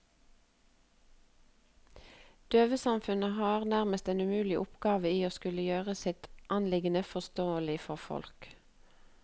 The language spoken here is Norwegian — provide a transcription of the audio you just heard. Døvesamfunnet har nærmest en umulig oppgave i å skulle gjøre sitt anliggende forståelig for folk.